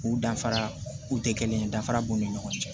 K'u danfara u tɛ kelen ye danfara b'u ni ɲɔgɔn cɛ